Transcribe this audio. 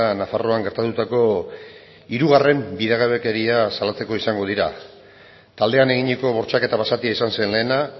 nafarroan gertatutako hirugarren bidegabekeria salatzeko izango dira taldean eginiko bortxaketa basatia izan zen lehena